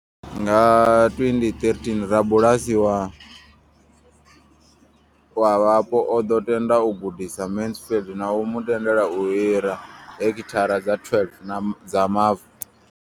Nga 2013, rabulasi wa wa vhapo o ḓo tenda u gudisa Mansfield na u mu tendela u hira heki thara dza 12 dza mavu.